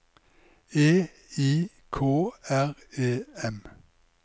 E I K R E M